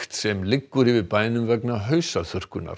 sem liggur yfir bænum vegna